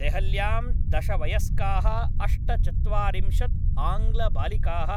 देहल्यां, दश वयस्काः अष्टचत्वारिंशत् आङ्ग्लबालिकाः,